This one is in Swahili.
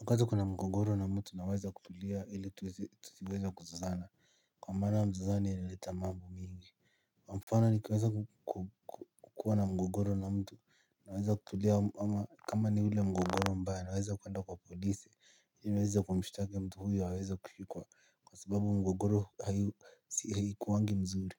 Wakati kuna mgogoro na mtu naweza kutulia ili tusiweza kuzozana kwa maana mzozano inaleta mambo mingi kwa mfano nikiweza kukuwa na mgogoro na mtu naweza kutulia ama kama ni ule mgogoro mbaya naweza kuwenda kwa polisi hili niweza kumshitaki mtu huyo aweze kushikwa kwa sababu mgogoro haikuwangi mzuri.